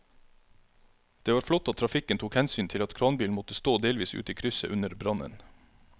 Det var flott at trafikken tok hensyn til at kranbilen måtte stå delvis ute i krysset under brannen.